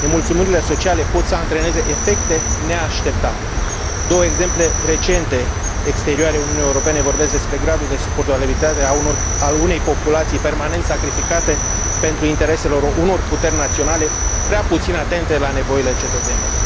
Nemulțumirile sociale pot să antreneze efecte neașteptate Două exemple recente, exterioare Uniunii Europene, vorbesc despre gradul de suportabilitate a unei populații permanent sacrificate pentru interesele unor puteri naționale prea puțin atente la nevoile cetățenilor